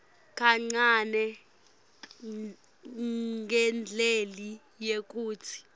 kancane ngendlela yekutsi